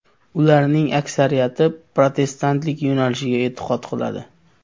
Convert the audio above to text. Ularning aksariyati protestantlik yo‘nalishiga e’tiqod qiladi.